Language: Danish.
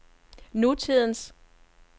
nutidens